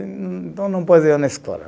Então, não pôs eu na escola.